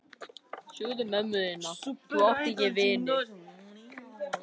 Vinir mínir hér, þau Guðmundur og Sigríður.